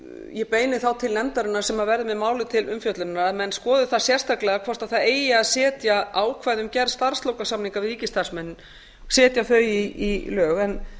ég beini þá til nefndarinnar sem verður með málið til umfjöllunar að menn skoði það sérstaklega hvort það eigi að setja ákvæði um gerð starfslokasamninga við ríkisstarfsmenn í lög